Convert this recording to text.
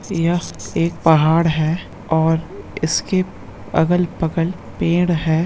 यह एक पहाड़ है और इसके अगल-बगल पेड़ है।